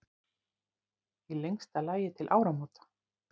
Í lengsta lagi til áramóta.